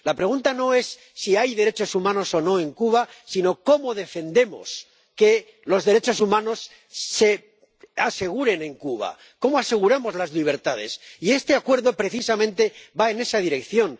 La pregunta no es si hay derechos humanos o no en Cuba, sino cómo defendemos que los derechos humanos se aseguren en Cuba, cómo aseguramos las libertades, y este Acuerdo precisamente va en esa dirección.